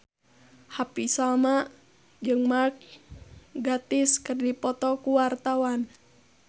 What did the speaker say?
Happy Salma jeung Mark Gatiss keur dipoto ku wartawan